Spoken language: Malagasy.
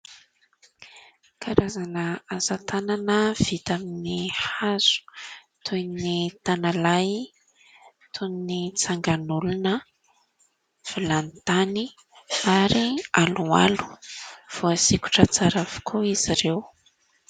Karazana asa tanana vita amin'ny hazo toy ny tanalahy, toy ny tsangan'olona, vilany tany ary aloalo. Voasikotra tsara avokoa izy ireo.